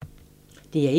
DR1